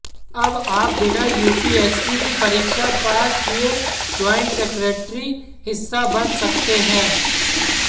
अब आप बिना यूपीएससी की परीक्षा पास किए ज्वाइंट सेक्रेटरी हिस्सा बन सकते हैं